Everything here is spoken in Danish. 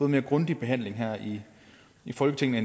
mere grundig behandling her i i folketinget